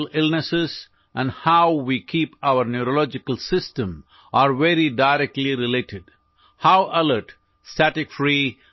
دماغی بیماریاں اور ہم اپنے اعصابی نظام کو کس طرح برقرار رکھتے ہیں اس کا براہ راست تعلق ہے